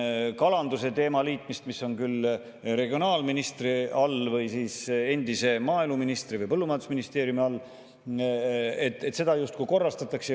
Kalanduse teemat, mis on küll regionaalministri all või siis endise maaeluministri või põllumajandusministeeriumi all, justkui korrastatakse.